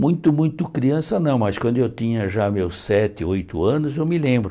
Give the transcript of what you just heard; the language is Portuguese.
Muito, muito criança não, mas quando eu tinha já meus sete, oito anos, eu me lembro.